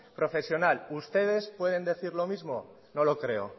profesional ustedes pueden decir lo mismo no lo creo